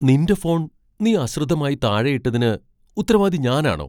നിന്റെ ഫോൺ നീ അശ്രദ്ധമായി താഴെയിട്ടതിന് ഉത്തരവാദി ഞാനാണോ!